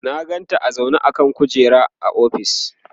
na ganta a zaune a kan kujera a ofis